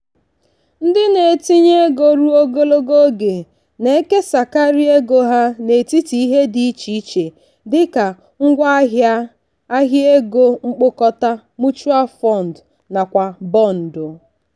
ndị na-etinye ego ruo ogologo oge na-ekesakarị ego ha n'etiti ihe dị iche iche dị ka ngwaahịa ahịa ego mkpokọta(mutual fund) nakwa bọndụ.